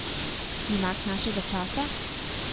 Junak našega časa?